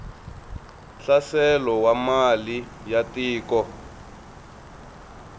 hlaselo wa mali ya tiko